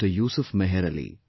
Yusuf Meher Ali